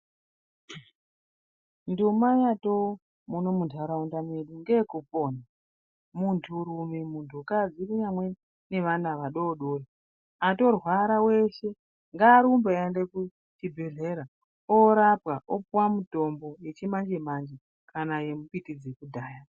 Nduma yato mundaraunda medu Ngeyekupona muntu rume muntu kadzi nevana vadodori atorwara weshe ngarumbe aende kuchibhedhlera ondorapwa opuwa mutombo wechimanje manje kana wembiti dzekudhaya.